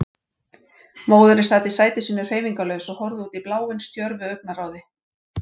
Móðirin sat í sæti sínu hreyfingarlaus og horfði útí bláinn stjörfu augnaráði.